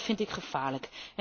En dat vind ik gevaarlijk.